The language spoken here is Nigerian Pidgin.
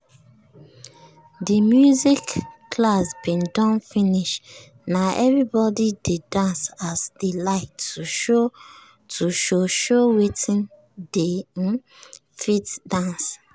de music class bin don finish na everybody dey dance as dey like to show show wetin dey um fit dance.